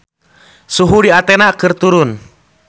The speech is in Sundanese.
Suhu di Athena keur turun